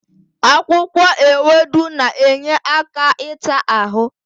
Akwụkwọ ewedu na-enye aka ịta ahụ.